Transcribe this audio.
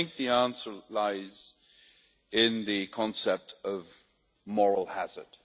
I think the answer lies in the concept of moral hazard.